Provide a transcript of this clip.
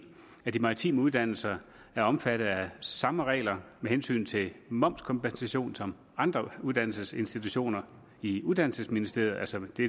de maritime uddannelser er omfattet af samme regler med hensyn til momskompensation som andre uddannelsesinstitutioner i uddannelsesministeriet altså det